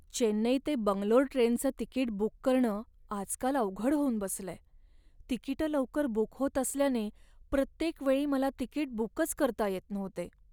चेन्नई ते बंगलोर ट्रेनचं ticket book करणं आजकाल अवघड होऊन बसलंय. तिकिटं लवकर बुक होत असल्याने प्रत्येकवेळी मला तिकीट बुकच करता येत नव्हते.